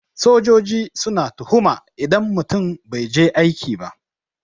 Sojoji suna tuhuma idan mutum bai je aiki ba.